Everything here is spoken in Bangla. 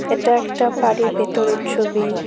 এটা একটা বাড়ির ভেতরের ছবি।